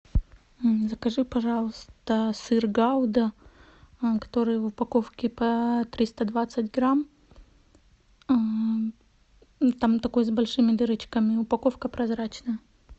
закажи пожалуйста сыр гауда который в упаковке по триста двадцать грамм там такой с большими дырочками упаковка прозрачная